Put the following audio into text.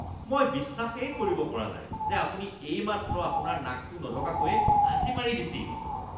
মই বিশ্বাসেই কৰিব পৰা নাই যে আপুনি এইমাত্ৰ আপোনাৰ নাকটো নঢকাকৈয়ে হাঁচি মাৰি দিছিল।